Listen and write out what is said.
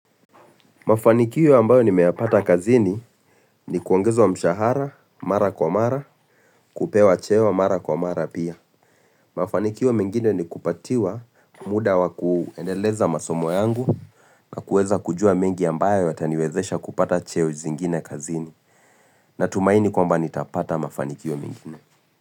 Mafanikio ambayo nimeyapata kazini ni kuongeza wa mshahara, mara kwa mara, kupewa cheo, mara kwa mara pia. Mafanikiyo mengine ni kupatiwa muda wa kuendeleza masomo yangu na kueza kujua mingi ambayo yataniwezesha kupata cheo zingine kazini natumaini kwa mba nitapata mafanikio mengine.